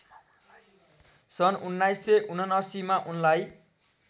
सन् १९७९ मा उनलाई